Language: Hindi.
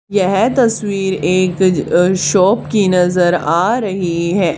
यह तस्वीर एक अह शॉप की नजर आ रही है।